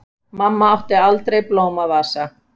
Mamma átti aldrei blómavasa.